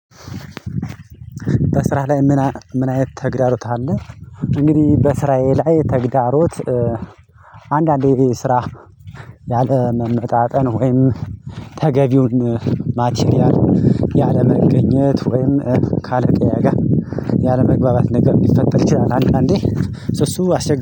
በስራህ ላይ ምን አይነት ተግዳሮት አለ? እንግዲህ በስራዬ ላይ ተግዳሮት። አንዳንዴ ስራ ያለመመጣጠን ወይም ተገቢውን ማቲርያል ያለመገኘት ወይም ካለቃዬጋ ያለመግባባት ነገር ሊፈጠር ይችላል። አንድ አንዴ እሱ አስቸጋሪ